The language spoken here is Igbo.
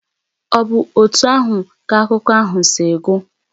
Ọ̀ bụ otú ahụ ka akụkọ ahụ si gwụ?